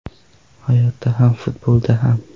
Hayotda ham, futbolda ham.